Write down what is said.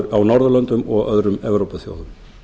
á norðurlöndum og öðrum evrópuþjóðum